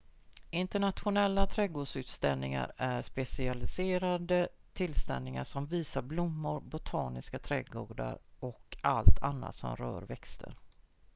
internationella trädgårdsutställningar är specialiserade tillställningar som visar blommor botaniska trädgårdar och allt annat som rör växter